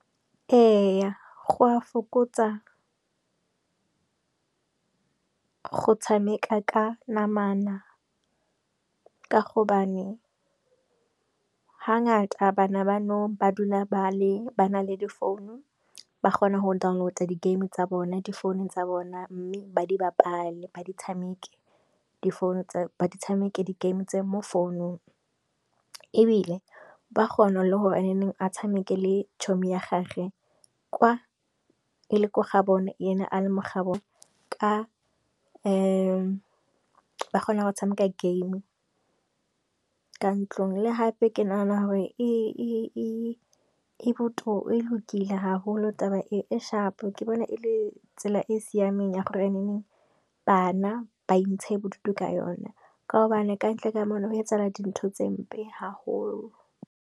Eya go a fokotsa go tshameka ka namana ka gobane ga ngata bana ba nou ba dula ba na le di founu ba kgona go download-a di game tsa bona, di founung tsa bona, mme ba di bapale, ba tshameke di founu ba tshameke game tse mo founung ebile ba kgona le gore a neng a tshameke le tšhomi ya gage kwa e le ko gabone ene a le mo ga bone, ka ba kgona go tshameka game ka ntlong. Le gape ke nagana gore e lokile ha holo taba e, e shapo ke bona e le tsela e e siameng ya gore bana ba intshe bodutu ka yona ka gobane e kantle ka mona ho etsala di ntho tse mpe ha holo.